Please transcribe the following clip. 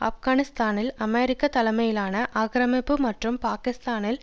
ஆப்கானிஸ்தானில் அமெரிக்கா தலைமையிலான ஆக்கிரமிப்பு மற்றும் பாகிஸ்தானில்